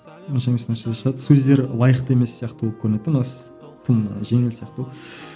онша емес нәрселер шығады сөздері лайықты емес сияқты болып көрінеді де мына тым жеңіл сияқты болып